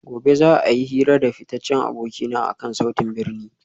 Gobe ​​za a yi hira da fitaccen abokina akan sautin birni